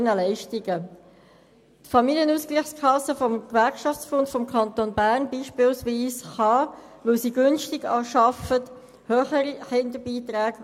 Beispielsweise kann die Familienausgleichskasse des Gewerkschaftsbunds des Kantons Bern höhere Kinderbeiträge auszahlen, weil sie günstig arbeitet.